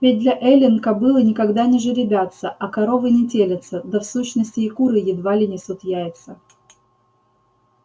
ведь для эллин кобылы никогда не жеребятся а коровы не телятся да в сущности и куры едва ли несут яйца